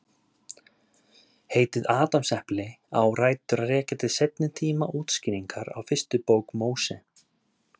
Heitið Adamsepli á rætur að rekja til seinni tíma útskýringar á fyrstu bók Móse.